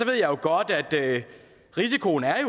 jeg ved godt at risikoen er